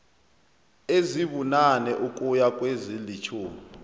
ezibunane ukuya kwezilitjhumi